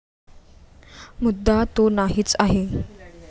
मुद्दा तो नाहीच आहे.